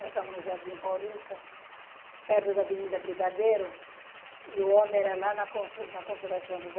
Nós estávamos no Jardim Paulista, perto da Avenida Brigadeiro, e o homem era lá na Consolação.